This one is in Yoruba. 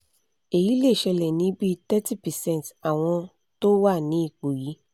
eyi le sele ni bi thirty percent awọ́n to wa ni ipo yi